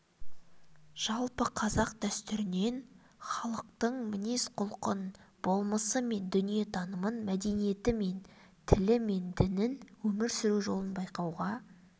жалпы қазақ дәстүрінен халықтың мінез-құлқын болмысы мен дүниетанымын мәдениеті тілі мен дінін өмір сүру жолын байқауға